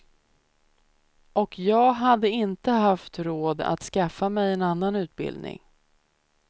Och jag hade inte haft råd att skaffa mig en annan utbildning.